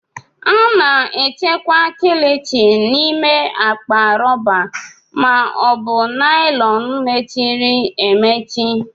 A na-echekwa Kilichi n'ime akpa rọba ma ọ bụ naịlọn mechiri emechi